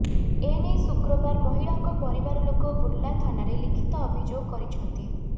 ଏନେଇ ଶୁକ୍ରବାର ମହିଳାଙ୍କ ପରିବାରଲୋକ ବୁର୍ଲା ଥାନାରେ ଲିଖିତ ଅଭିଯୋଗ କରିଛନ୍ତି